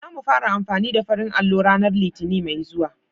Za mu fara amfani da farin allo ranar Litinin mai zuwa.